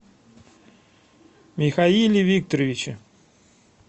михаиле викторовиче